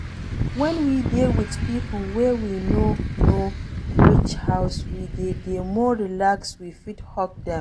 When we dey with pipo wey we know reach house we de dey more relaxed we fit hug them